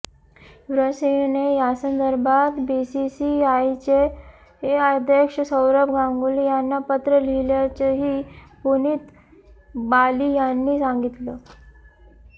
युवराज सिंहने यासंदर्भात बीसीसीआयचे अध्यक्ष सौरभ गांगुली यांना पत्र लिहिल्याचंही पुनीत बाली यांनी सांगितलं